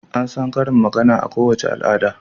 An san karin magana a kowace al'ada.